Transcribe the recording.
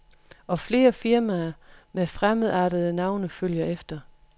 Og flere firmaer med fremmedartede navne følger efter.